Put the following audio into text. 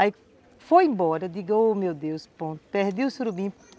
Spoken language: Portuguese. Aí foi embora, digo, ô meu Deus do céu, perdi o surubim.